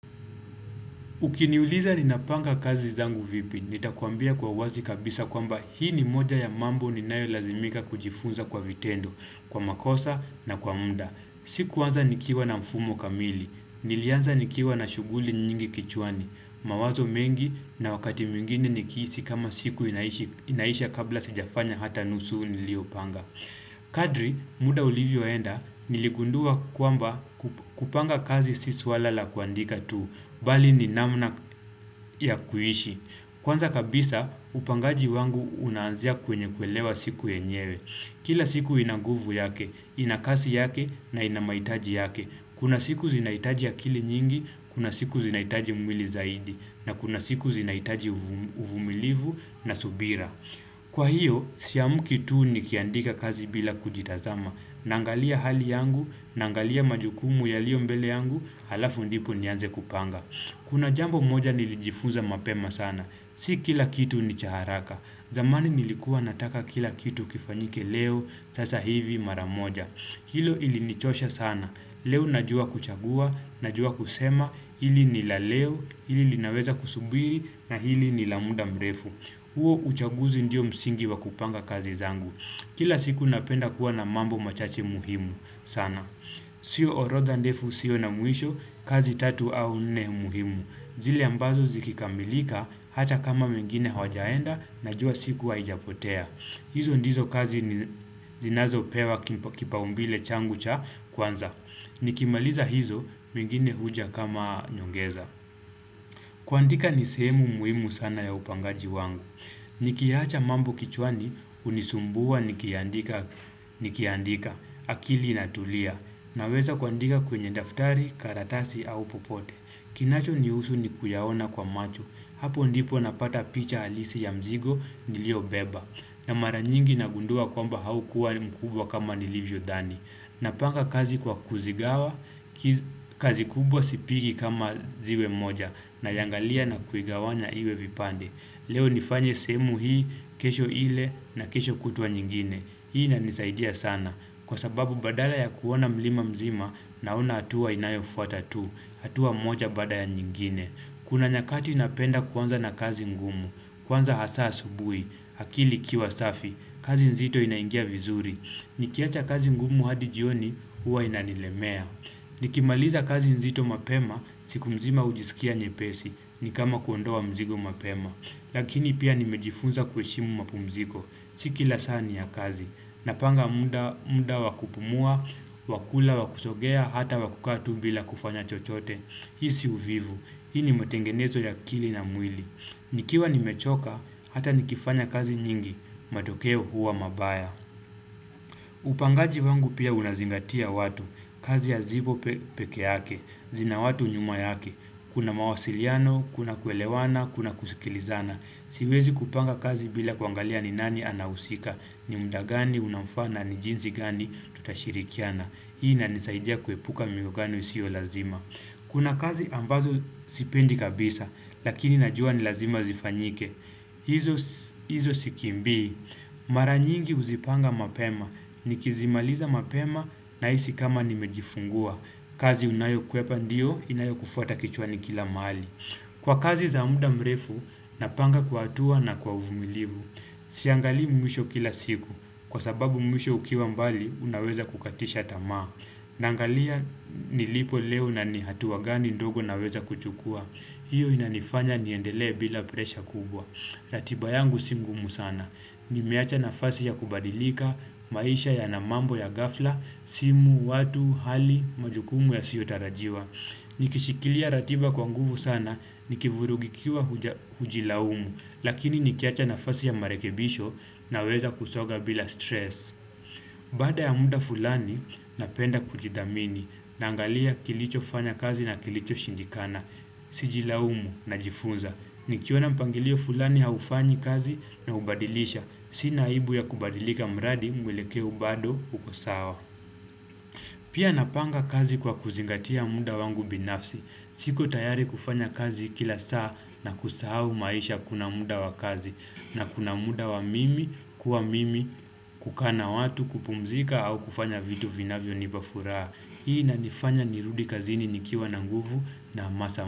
Ukiniuliza ninapanga kazi zangu vipi, nitakuambia kwa uwazi kabisa kwamba hii ni moja ya mambo ninayolazimika kujifunza kwa vitendo, kwa makosa na kwa muda. Sikuanza nikiwa na mfumo kamili, nilianza nikiwa na shughuli nyingi kichwani, mawazo mengi na wakati mwengine nikihisi kama siku inaisha kabla sijafanya hata nusu niliopanga. Kadri muda ulivyoenda niligundua kwamba kupanga kazi si suala la kuandika tu Bali ni namna ya kuishi Kwanza kabisa upangaji wangu unaanzia kwenye kuelewa siku yenyewe Kila siku ina nguvu yake, ina kasi yake na ina maitaji yake Kuna siku zinaitaji akili nyingi, kuna siku zinaitaji mwili zaidi na kuna siku zinaitaji uvumilivu na subira Kwa hiyo, siamki tu nikiandika kazi bila kujitazama, naangalia hali yangu, naangalia majukumu yaliyo mbele yangu, halafu ndipo nianze kupanga. Kuna jambo moja nilijifunza mapema sana, si kila kitu ni cha haraka, zamani nilikuwa nataka kila kitu kifanyike leo, sasa hivi mara moja. Hilo ilinichosha sana. Leo najua kuchagua, najua kusema, hili ni la leo, hili linaweza kusubiri, na hili ni la muda mrefu. Uo uchaguzi ndio msingi wa kupanga kazi zangu. Kila siku napenda kuwa na mambo machache muhimu sana. Sio orodha ndefu, isio na mwisho, kazi tatu au nne muhimu. Zile ambazo zikikamilika, hata kama mengine hawajaenda, najua siku haijapotea. Hizo ndizo kazi ni zinazopewa kipaumbile changu cha kwanza. Nikimaliza hizo mengine huja kama nyongeza. Kuandika ni sehemu muhimu sana ya upangaji wangu. Nikiacha mambo kichwani hunisumbua nikiandika. Akili inatulia. Naweza kuandika kwenye daftari, karatasi au popote. Kinachonihusu ni kuyaona kwa macho. Hapo ndipo napata picha halisi ya mzigo niliobeba. Na mara nyingi nagundua kwamba haukuwa mkubwa kama nilivyodhani Napanga kazi kwa kuzigawa, kazi kubwa sipigi kama ziwe moja Nayaangalia na kuigawanya iwe vipande Leo nifanye sehemu hii, kesho ile na kesho kutwa nyingine Hii inanisaidia sana Kwa sababu badala ya kuona mlima mzima naona hatua inayofata tu hatua moja baada ya nyingine Kuna nyakati napenda kuanza na kazi ngumu Kwanza hasa asubui akili ikiwa safi, kazi nzito inaingia vizuri Nikiacha kazi ngumu hadi jioni, huwa inanilemea Nikimaliza kazi nzito mapema, siku mzima hujisikia nyepesi ni kama kuondoa mzigo mapema Lakini pia nimejifunza kuheshimu mapumziko Si kila saa ni ya kazi Napanga muda wa kupumua, wa kula wa kusogea, hata wa kukaa tu bila kufanya chochote Hii si uvivu, hii ni matengenezo ya akili na mwili nikiwa nimechoka, hata nikifanya kazi nyingi, matokeo huwa mabaya Upangaji wangu pia unazingatia watu, kazi ya zibo peke yake, zina watu nyuma yake Kuna mawasiliano, kuna kuelewana, kuna kusikilizana Siwezi kupanga kazi bila kuangalia ni nani anahusika, ni mda gani, unaofaa na ni jinsi gani, tutashirikiana Hii inanisaidia kuepuka miogano isio lazima Kuna kazi ambazo sipendi kabisa, lakini najua ni lazima zifanyike. Hizo sikimbii. Mara nyingi huzipanga mapema. Nikizimaliza mapema nahisi kama nimejifungua. Kazi unayokwepa ndiyo, inayokufuata kichwani kila maali. Kwa kazi za muda mrefu, napanga kwa hatua na kwa uvumilivu. Siangalii mwisho kila siku. Kwa sababu mwisho ukiwa mbali, unaweza kukatisha tamaa. Naangalia nilipo leo na ni hatua gani ndogo naweza kuchukua hiyo inanifanya niendelee bila presha kubwa ratiba yangu si mgumu sana Nimeacha nafasi ya kubadilika, maisha yana mambo ya ghafla, simu, watu, hali, majukumu yasiotarajiwa Nikishikilia ratiba kwa nguvu sana, nikivurugikiwa hujilaumu Lakini nikiacha nafasi ya marekebisho naweza kusoga bila stress Baada ya muda fulani napenda kujidhamini naangalia kilichofanya kazi na kilichoshindikana. Sijilaumu najifunza. Nikiona mpangilio fulani haufanyi kazi naubadilisha. Sina aibu ya kubadilika mradi mwelekeo bado uko sawa. Pia napanga kazi kwa kuzingatia muda wangu binafsi. Siko tayari kufanya kazi kila saa na kusahau maisha kuna muda wa kazi. Na kuna muda wa mimi kuwa mimi kukaa na watu kupumzika au kufanya vitu vinavyonipa furaa. Hii inanifanya nirudi kazini nikiwa na nguvu na hamasa.